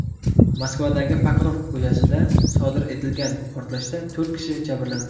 Moskvadagi Pokrovka ko‘chasida sodir etilgan portlashda to‘rt kishi jabrlandi.